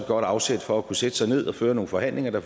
godt afsæt for at kunne sætte sig ned og føre nogle forhandlinger der